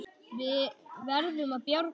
Við verðum að bjarga honum.